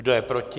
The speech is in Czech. Kdo je proti?